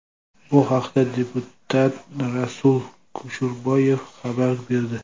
Bu haqda deputat Rasul Kusherbayev xabar berdi .